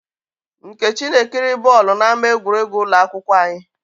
Nkechi na-ekiri bọọlụ n'ámá egwuregwu ụlọ akwụkwọ anyị.